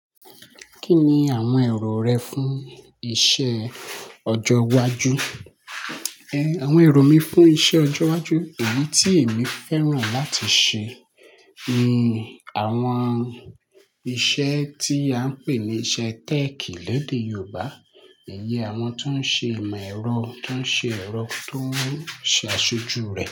Kí ni àwọn èrò rẹ fún iṣẹ́ ọjọ́ iwájú? Àwọn èrò mi fún iṣẹ́ ọjọ́ iwájú, èyí tí èmi fẹ́ràn láti ṣe ni àwọn iṣẹ́ tí a ń pè ní iṣẹ́ tech lédè Yorùbá. Ǹ yẹ àwọn tó ń ṣe ìmọ̀ ẹ̀rọ, tó ń ṣe ẹ̀rọ, tó ń ṣe aṣojú rẹ̀